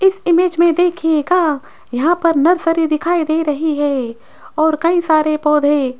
इस इमेज में देखिएगा यहां पर नर्सरी दिखाई दे रही है और कई सारे पौधे --